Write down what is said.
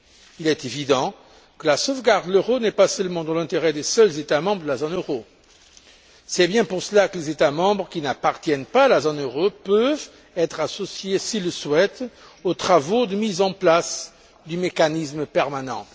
Il est évident que la sauvegarde de l'euro n'est pas seulement de l'intérêt des seuls États membres de la zone euro. C'est bien pour cela que les États membres qui n'appartiennent pas à la zone euro peuvent être associés, s'ils le souhaitent, aux travaux de mise en place du mécanisme permanent.